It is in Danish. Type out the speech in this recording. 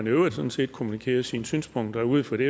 i øvrigt sådan set kommunikerer sine synspunkter ud for det